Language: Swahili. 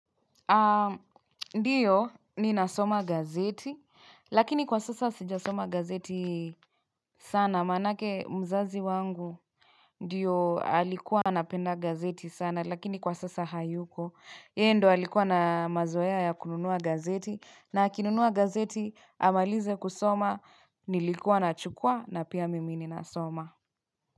Ndiyo ni nasoma gazeti lakini kwa sasa sija soma gazeti sana maana yake mzazi wangu Ndiyo alikuwa napenda gazeti sana lakini kwa sasa hayuko Yeye ndo alikuwa na mazoea ya kununua gazeti na kinunua gazeti amalize kusoma nilikua na chukua na pia mimi, ni nasoma.